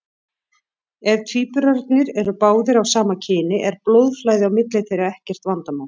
Ef tvíburarnir eru báðir af sama kyni er blóðflæði á milli þeirra ekkert vandamál.